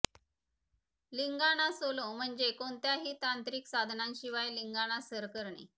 Lingana solo म्हणजे कोणत्याही तांत्रिक साधनांशिवाय लिंगाणा सर करणे